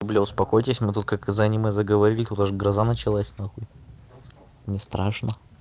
бля успокойтесь мы только как за аниме мы заговорили художник гроза началась нахуй не страшно